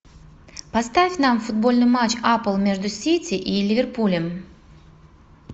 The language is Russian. поставь нам футбольный матч апл между сити и ливерпулем